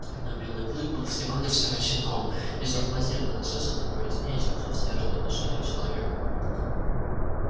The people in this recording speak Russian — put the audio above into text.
но белый клык был всего навсего щенком и зов матери доносился до него яснее чем зов северной глуши или человека